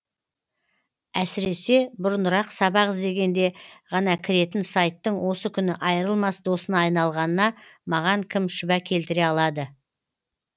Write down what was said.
әсіресе бұрынырақ сабақ іздегенде ғана кіретін сайттың осы күні айырылмас досыңа айналғанына маған кім шүбә келтіре алады